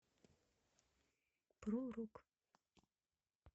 про рок